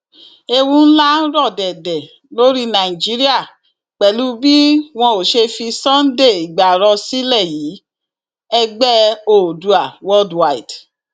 ewu ńlá ń rọ dẹdẹ lórí nàìjíríà pẹlú bí wọn ò ṣe fi sunday igbárò sílẹ yìí ẹgbẹ oòdua worldwide